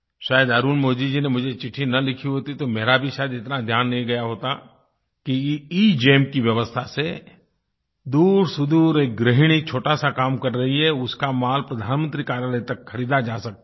शायद अरुलमोझी जी ने मुझे चिट्ठी न लिखी होती तो मेरा भी शायद इतना ध्यान नहीं गया होता कि एगेम की व्यवस्था से दूरसुदूर एक गृहिणी छोटा सा काम कर रही है उसका माल प्रधानमंत्री कार्यालय तक ख़रीदा जा सकता है